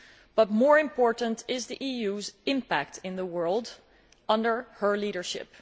But more important is the EU's impact in the world under her leadership.